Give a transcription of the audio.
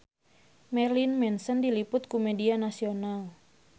Marilyn Manson diliput ku media nasional